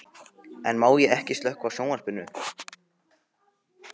En má ég ekki slökkva á sjónvarpinu?